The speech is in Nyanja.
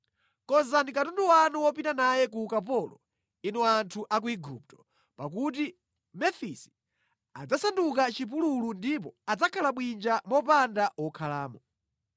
Konzani katundu wanu wopita naye ku ukapolo inu anthu a ku Igupto, pakuti Mefisi adzasanduka chipululu ndipo adzakhala bwinja mopanda wokhalamo.